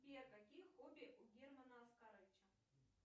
сбер какие хобби у германа оскаровича